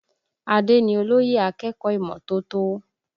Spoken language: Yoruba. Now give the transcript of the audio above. Adé ni olóyè akẹ́kọ̀ọ́ ìmọ́tótó